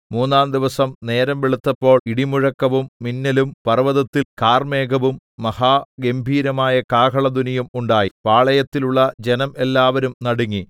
മൂന്നാംദിവസം നേരം വെളുത്തപ്പോൾ ഇടിമുഴക്കവും മിന്നലും പർവ്വതത്തിൽ കാർമേഘവും മഹാഗംഭീരമായ കാഹളധ്വനിയും ഉണ്ടായി പാളയത്തിലുള്ള ജനം എല്ലാവരും നടുങ്ങി